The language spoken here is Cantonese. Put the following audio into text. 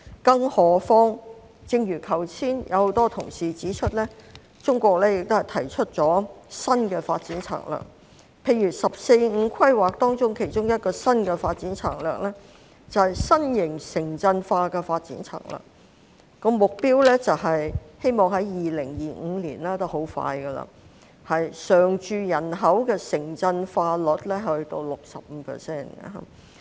更何況正如剛才很多同事指出，中國已提出新的發展策略，例如《十四五規劃綱要》其中一個新的發展策略便是新型城鎮化，目標是希望在2025年——已經很快——常住人口的城鎮化率達到 65%。